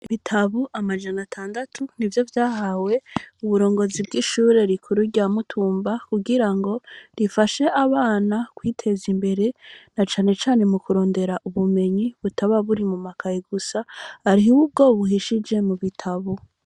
Ibitabu amajana atandatu nivyo vyahawe uburongozi bw'ishuri rikuru rya Mutumba ku girango rifashe abana kwiteza imbere na cane cane mu kurundera butba buri mu makaye gusa ahuwo buhishije mu bitabo.